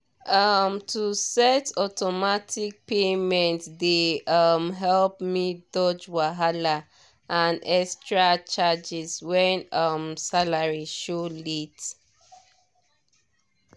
um to set automatic payment dey um help me dodge wahala and extra charges when um salary show late